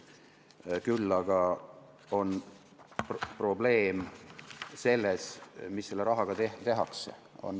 Küll aga on probleem selles, mida selle rahaga tehakse.